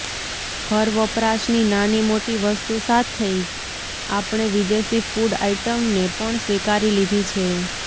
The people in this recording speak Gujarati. ઘર વપરાશની નાની મોટી વસ્તુ સાથૈ આપણે વિદેશી ફૂડ આઈટમને પણ સ્વીકારી લીઘી છે